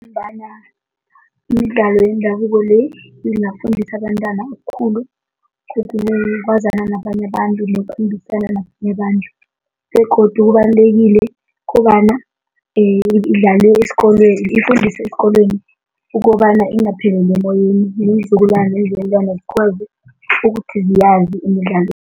Ngombana imidlalo yendabuko le, ingafundisa abentwana okukhulu, ukwazana nabanye abantu, nokukhulumisana nabanye abantu begodu kubalulekile ukobana idlaliwe esikolweni, ifundiswe eenkolweni ukobana ingapheleli emoyeni, neenzukulwana neenzukulwana zikwazi ukuthi ziyazi imidlalo.